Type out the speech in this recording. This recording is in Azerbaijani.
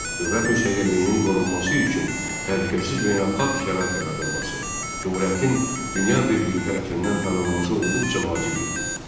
Dövlət müstəqilliyinin qorunması üçün təhlükəsiz beynəlxalq şərait yaradılması, Cümhuriyyətin dünya birliyi tərəfindən tanınması olduqca vacib idi.